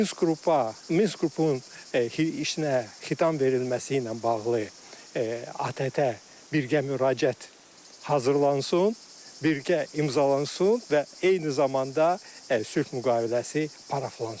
Minsk qrupa, Minsk qrupun heçnəyə xitam verilməsi ilə bağlı ATƏT-ə birgə müraciət hazırlansın, birgə imzalansın və eyni zamanda sülh müqaviləsi paraflansın.